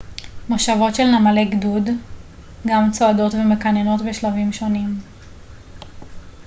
מושבות של נמלי גדוד גם צועדות ומקננות בשלבים שונים